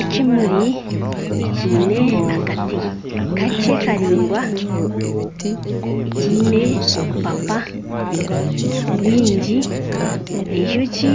Ekimuri ekiine akati kakye karingwa ekiine obupapa bwingi enjoki